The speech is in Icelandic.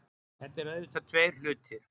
Þetta eru auðvitað tveir hlutir